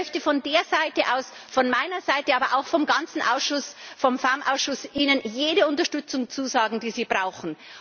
Und ich möchte von dieser Seite aus von meiner Seite, aber auch vom ganzen FEMM Ausschuss Ihnen jede Unterstützung zusagen, die Sie brauchen.